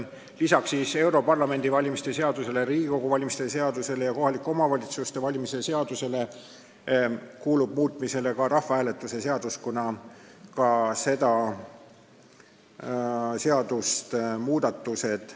Lisaks Euroopa Parlamendi valimise seadusele, Riigikogu valimise seadusele ja kohaliku omavalitsuse volikogu valimise seadusele on vaja muuta ka rahvahääletuse seadust, kuna muudatused mõjutavad sedagi seadust.